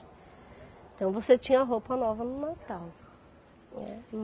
Então você tinha roupa nova no Natal, né.